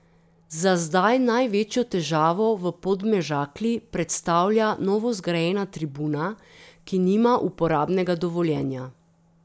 Za zdaj največjo težavo v Podmežakli predstavlja novozgrajena tribuna, ki nima uporabnega dovoljenja.